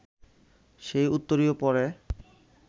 সেই উত্তরীয় পরে